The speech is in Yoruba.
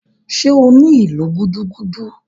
Ṣé o ní ìlù gúdúgúdú?